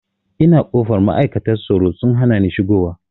Ina kofar ma'aikata tsaro sun hanani shigo wa